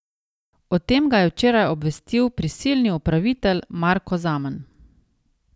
O tem ga je včeraj obvestil prisilni upravitelj Marko Zaman.